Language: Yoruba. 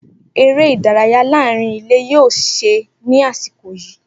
Eré ìdárayá láàárín ilé yóò ṣe é ní àsìkò yìí.